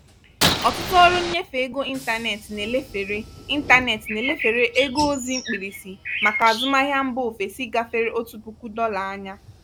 ọtụtụ ọrụ nnyefe ego ịntanetị na-elefere ịntanetị na-elefere ego ozi mkpirisi maka azụmahịa mba ofesi gáfèrè otu puku dolar ányá.